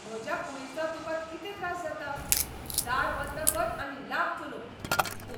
म्हज्या कुडीचो तुका कितें त्रास जाता? दार बंद कर आनी लाग चलूंक. पूत